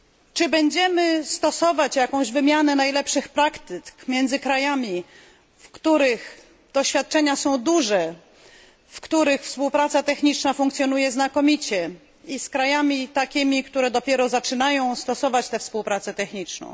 Czy będziemy stosować jakąś wymianę najlepszych praktyk między krajami, których doświadczenia są duże, w których współpraca techniczna funkcjonuje znakomicie, i z krajami takimi, które dopiero zaczynają stosować tą współpracę techniczną?